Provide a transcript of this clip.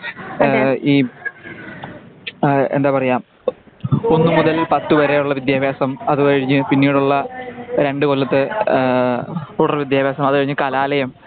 ആ ഈ ആ എന്താ പറയുക ഒന്നുമുതൽ പത്തു വരെയുള്ള വിദ്ത്യഭ്യാസം. അതുകഴിഞ്ഞു പിന്നീടുളള രണ്ടുകൊല്ലത്തെ തുടർ വിദ്ത്യഭ്യാസം അതുകഴിഞ്ഞു കലാലയം.